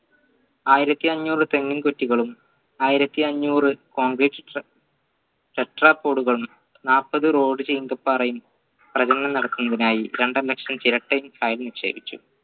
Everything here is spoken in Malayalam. ആയിരത്തി അന്നൂർ തെങ്ങിൻ കുറ്റികളും ആയിരത്തി അന്നൂർ concrete സ്ട്ര നാല്പത് road പാറയും നടക്കുന്നതിനായി രണ്ടര ലക്ഷം ചിരട്ടയോ